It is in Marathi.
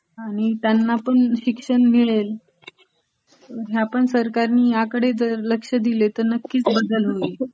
आणि त्यांना पण शिक्षण मिळेल. ह्यापण सरकारने ह्याकडे लक्ष दिले तर त्यांना पण शिक्षण मिळेल